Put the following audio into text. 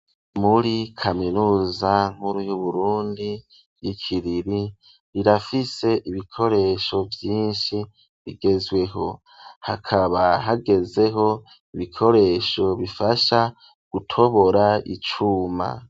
Muri kaminuza nkuru, y'Uburundi, y'i Kiriri, irafise ibikoresho vyinshi, bigezweho; hakaba hagezeho, ibikoresho bifasha, gutobora icuma.